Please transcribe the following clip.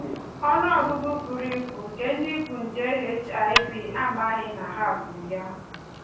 Ọnụ ọgụgụ buru ibu nke ndị bu nje HIV amaghị na ha bu ya